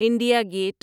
India get